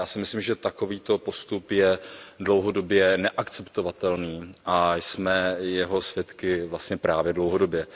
Já si myslím, že takovýto postup je dlouhodobě neakceptovatelný a jsme jeho svědky vlastně právě dlouhodobě.